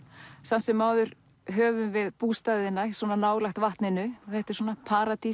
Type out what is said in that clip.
samt sem áður höfum við bústaðina svona nálægt vatninu þetta er svona